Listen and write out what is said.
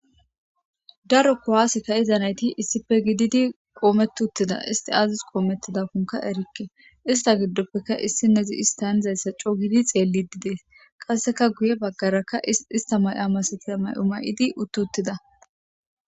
Darokko haasika iza nayti issife gididi qoomettuttida isti aazis qoomettidakkonka erikke ista giddoppeka issi nezi istanizayssa coo gidi xeellididees qasseka guye baggaraka ista may7a masetia may7o may7idi uttuttida